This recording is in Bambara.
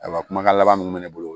Ayiwa kumakan laban min bɛ ne bolo